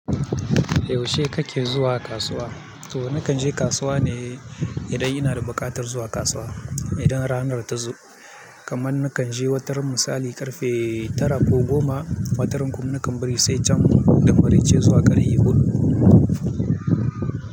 Yaushe kake zuwa kasuwa? Toh nakan je kasuwa ne idan ina da buƙatar zuwa kasuwa, idan ranar ta zo. Kaman nakan je wataran misali karfe tara ko goma, wataran kuma nakan bari sai can' da maraice zuwa ƙarfe huɗu.